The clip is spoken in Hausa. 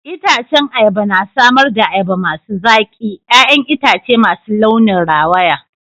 Itacen ayaba na samar da ayaba masu zaki, 'ya'yan itace masu launin rawaya.